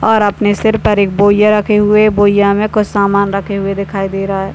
और अपने सिर पर एक बोरिया रखे हुए है बोरी में कुछ सामान रखे हुए दिखाई दे रहा है।